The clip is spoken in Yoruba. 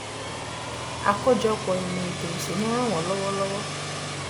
àkójọpọ̀ ìmọ̀ ètò ìsúná ràn wọ́n lọ́wọ́. lọ́wọ́.